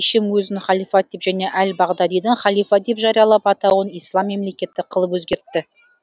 ишим өзін халифат деп және әл бағдадидің халифа деп жариялап атауын ислам мемлекеті қылып өзгертті